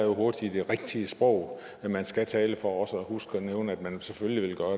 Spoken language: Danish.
hurtigt det rigtige sprog som man skal tale for også at huske at nævne at man selvfølgelig